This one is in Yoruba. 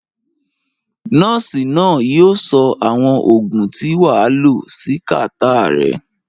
Nurse náà yio so àwon ògùn tí wàa lo si catarrh rẹ